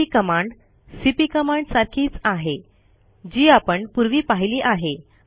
MV command CP command सारखीच आहे जी आपण पूर्वी पाहिली आहे